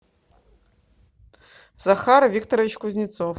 захар викторович кузнецов